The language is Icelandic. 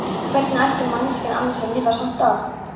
Hvernig ætti manneskjan annars að lifa sumt af?